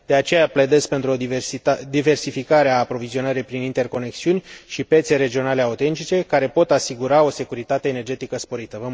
De aceea, pledez pentru o diversificare a aprovizionării prin interconexiuni și piețe regionale autentice, care pot asigura o securitatea energetică sporită.